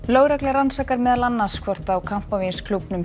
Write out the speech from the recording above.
lögregla rannsakar meðal annars hvort á